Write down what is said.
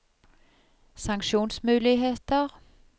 sanksjonsmuligheter